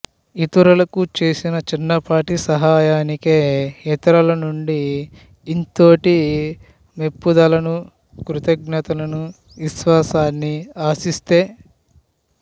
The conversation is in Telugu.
ఇతరులకు చేసిన చిన్నపాటి సహాయనికే ఇతరులనుండి ఇంతోటి మెప్పుదలనుకృతజ్ఞతలనువిశ్వాసాన్ని ఆశిస్తే